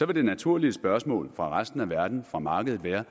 det naturlige spørgsmål fra resten af verden fra markedet være